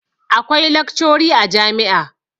akwai laccori a jami`a